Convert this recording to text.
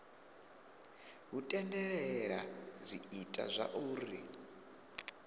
hu tendelela zwi ita zwauri